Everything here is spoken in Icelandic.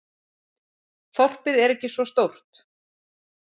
Þorpið er ekki svo stórt.